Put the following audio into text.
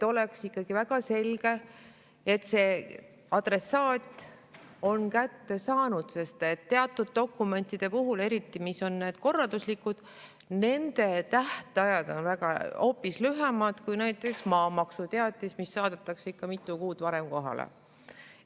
Nende puhul on väga tähtis, et oleks selge, et adressaat on need kätte saanud, sest teatud dokumentide puhul – eriti, mis on korralduslikud – on tähtajad hoopis lühemad kui näiteks maamaksuteatise puhul, mis saadetakse ikka mitu kuud varem kohale.